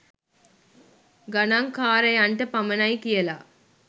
ගනංකාරයන්ට පමණයි කියලා